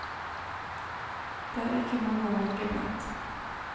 Det er ikke mange å velge blant.